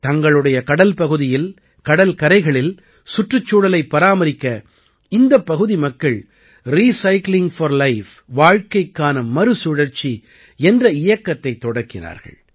தங்களுடைய கடல் பகுதியில் கடல் கரைகளில் சுற்றுச்சூழலைப் பராமரிக்க இந்தப் பகுதி மக்கள் ரிசைக்ளிங் போர் லைஃப் வாழ்க்கைக்கான மறுசுழற்சி என்ற இயக்கத்தைத் தொடக்கினார்கள்